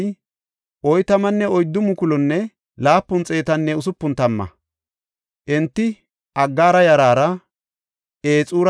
Enti Aggaara yaraara, Ixura yaraara, Nafesaranne Nodabaara oletidosona.